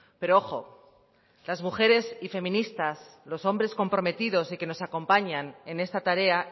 pero ojo las mujeres y feministas los hombres comprometidos y que nos acompañan en esta tarea